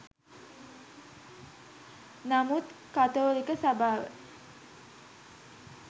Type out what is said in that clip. නමුත් කතෝලික සභාව